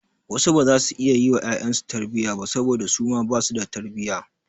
Wasu baza su iya yi wa ƴaƴansu su tarbiyya ba saboda su ma basu da tarbiyya.